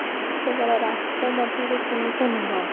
କେବଳ ରାଷ୍ଟ୍ର ମଧ୍ୟରେ ସୀମିତ ନୁହେଁ